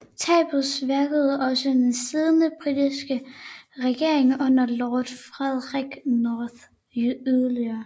Tabet svækkede også den siddende britiske regering under lord Frederick North yderligere